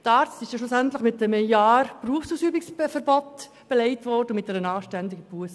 Der Arzt wurde dann schliesslich mit einem Jahr Berufsausübungsverbot belegt und erhielt eine anständige Busse.